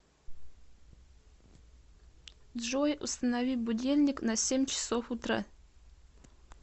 джой установи будильник на семь часов утра